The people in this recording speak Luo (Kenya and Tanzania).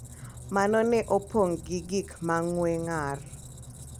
Mano ne opong’ gi gik ma ng’we ng’ar.